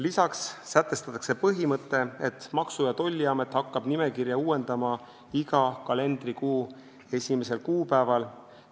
Lisaks sätestatakse põhimõte, et Maksu- ja Tolliamet hakkab nimekirja uuendama iga kalendrikuu esimesel kuupäeval.